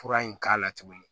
Fura in k'a la tuguni